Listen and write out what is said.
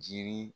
Jiri